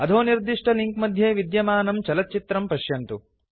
अधो निर्दिष्टलिंक् मध्ये विद्यमानं चलच्चित्रं पश्यन्तु